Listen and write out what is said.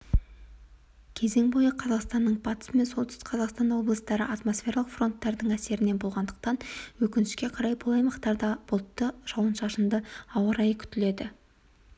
кезең бойы қазақстанның батыс мен солтүстік-батыс облыстары атмосфералық фронтардың әсерінде болғандықтан өкінішке қарай бұл аймақтарда бұлтты жауын-шашынды ауа-райы күтіледі